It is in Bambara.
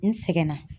N sɛgɛnna